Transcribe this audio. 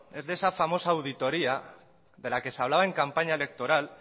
es de esa famosa auditoría de la que se hablaba en campaña electoral